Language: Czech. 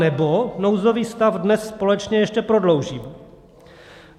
Anebo nouzový stav dnes společně ještě prodloužíme.